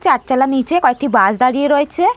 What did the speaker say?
চারচালার নিচে কয়েকটি বাস দাড়িয়ে রয়েছে।